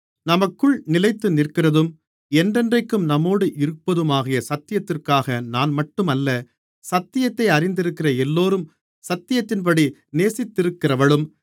நமக்குள் நிலைத்துநிற்கிறதும் என்றென்றைக்கும் நம்மோடு இருப்பதுமாகிய சத்தியத்திற்காக நான்மட்டும் அல்ல சத்தியத்தை அறிந்திருக்கிற எல்லோரும் சத்தியத்தின்படி நேசித்திருக்கிறவளும்